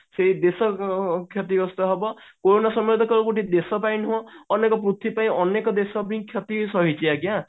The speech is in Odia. ସେଇ ଦେଶ କ୍ଷ୍ୟତିଗ୍ରସ୍ତ ହେବ କୋରୋନା ସମୟରେ ଗୋଟେ ଦେଶ ପାଇଁ ନୁହଁ ଅନେକ ପୃଥିବୀ ପାଇଁ ଅନେକ ଦେଶ ବି କ୍ଷତି ସହିଛି ଆଜ୍ଞା